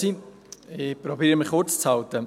Ich versuche, mich kurz zu halten.